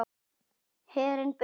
Herinn burt!